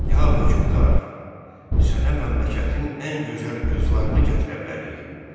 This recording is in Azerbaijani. Ya hökmdar, sənə məmləkətin ən gözəl qızlarını gətirə bilərik.